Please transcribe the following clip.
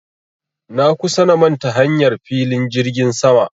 Na kusa na manta hanyar filin jirgin sama